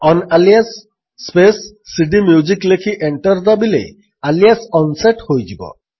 ଅନ୍ଆଲିଆସ୍ space cdmusic ଲେଖି enter ଦାବିଲେ alias unset ହୋଇଯିବ